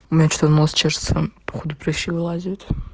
у меня чего то нос чешется походу прыщи вылазят